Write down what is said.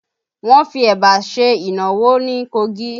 Wọn fi Ẹ̀bà ṣe ìnáwó ní Kogi